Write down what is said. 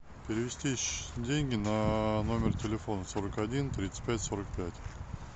перевести деньги на номер телефона сорок один тридцать пять сорок пять